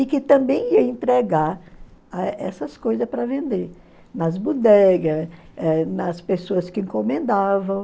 E que também ia entregar essas coisas para vender, nas bodegas, eh nas pessoas que encomendavam.